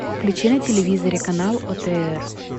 включи на телевизоре канал отр